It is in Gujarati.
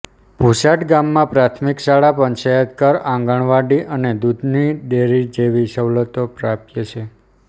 ભુછાડ ગામમાં પ્રાથમિક શાળા પંચાયતઘર આંગણવાડી અને દૂધની ડેરી જેવી સવલતો પ્રાપ્ય છે